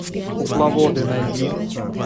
кукловоды найди